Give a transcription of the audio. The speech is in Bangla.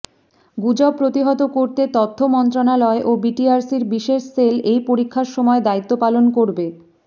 গুজব প্রতিহত করতে তথ্যমন্ত্রণালয় ও বিটিআরসির বিশেষ সেল এই পরীক্ষার সময় দায়িত্ব পালন করবে